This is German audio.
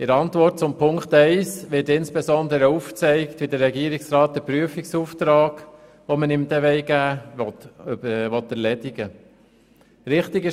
In der Antwort zu Ziffer 1 wird insbesondere aufgezeigt, wie der Regierungsrat einen Prüfungsauftrag, den wir ihm geben wollen, erledigen will.